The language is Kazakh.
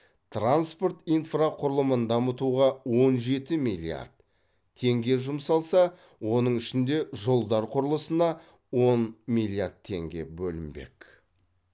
транспорт инфрақұрылымын дамытуға он жеті миллиард теңге жұмсалса оның ішінде жолдар құрылысына он миллиард теңге бөлінбек